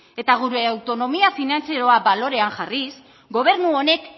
eta gure autonomia finantzieroa balorean jarriz gobernu honek